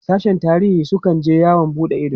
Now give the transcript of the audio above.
sashen tarihin su kan je yawon buɗe Ido